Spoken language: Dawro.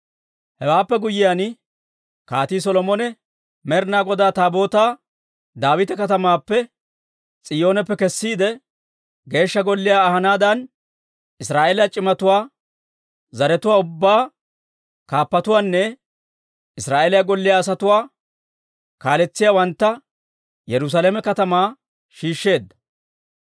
Hewaappe guyyiyaan Kaatii Solomone Med'inaa Godaa Taabootaa Daawita Katamaappe, S'iyooneppe kessiide, Geeshsha Golliyaa ahanaadan, Israa'eeliyaa c'imatuwaa, zaratuwaa ubbaa kaappatuwaanne Israa'eeliyaa golliyaa asatuwaa kaaletsiyaawantta Yerusaalame katamaa shiishsheedda.